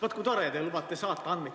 Vaat, kui tore, et te lubate andmeid saata.